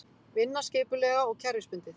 Vinna skipulega og kerfisbundið.